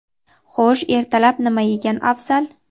Xo‘sh, ertalab nima yegan afzal?.